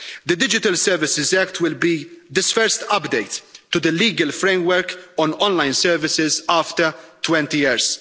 The Digital Services Act will be this first update to the legal framework on online services after 20 years.